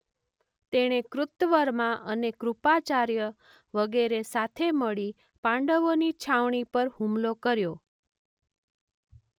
તેણે કૃતવર્મા અને કૃપાચાર્ય વગેરે સાથે મળી પાંડવોની છાવણી પર હુમલો કર્યો.